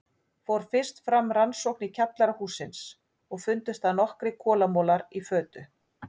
Fór fyrst fram rannsókn í kjallara hússins og fundust þar nokkrir kolamolar í fötu.